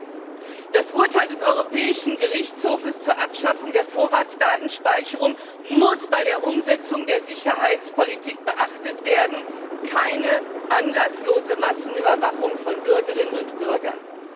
Erstens Das Urteil des Europäischen Gerichtshofs zur Abschaffung der Vorratsdatenspeicherung muss bei der Umsetzung der Sicherheitspolitik beachtet werden keine anlasslose Massenüberwachung von Bürgerinnen und Bürgern.